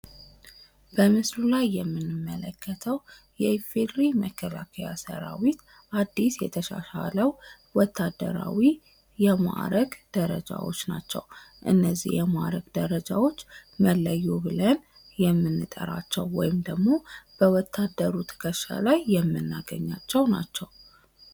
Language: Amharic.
በምስሉ ላይ የምንመለከተው የኢፌዴሪ መከላከያ ሰራዊት አድስ የተሻሻለው ወታደራዊ የማዕረግ ደረጃዎች ናቸው። እነዚህ የማዕረግ ደረጃዎች መለዮ ብለን የምንጠራቸው ወይም ደግሞ በወታደሩ ትከሻ ላይ የምናገኛቸው ናቸው።